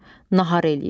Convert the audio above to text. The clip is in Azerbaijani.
Nahar eləyirsiz.